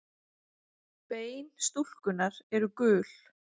Bein stúlkunnar eru gul.